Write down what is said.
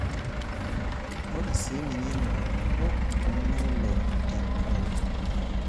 Ore sii nejiy Nena kulupuok neloy te nkolong.